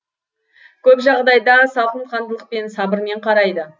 көп жағдайда салқынқандылықпен сабырмен қарайды